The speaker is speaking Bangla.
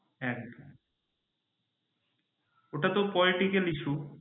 হ্যাঁ ওটাতো political issue